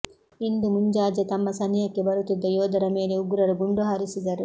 ಇಂದು ಮಂಜಾಜೆ ತಮ್ಮ ಸನಿಹಕ್ಕೆ ಬರುತ್ತಿದ್ದ ಯೋದರ ಮೇಲೆ ಉಗ್ರರು ಗುಂಡು ಹಾರಿಸಿದರು